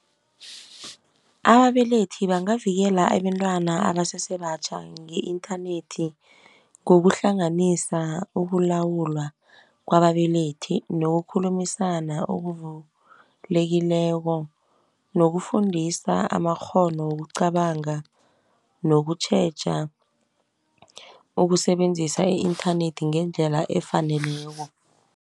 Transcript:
Ababelethi bangavikela abentwana abasesebatjha nge-inthanethi, ngokuhlanganisa ukulawulwa kwababelethi, nokukhulumisana okuvulekileko, nokufundisa amakghono wokucabanga nokutjheja ukusebenzisa i-inthanethi ngendlela efaneleko.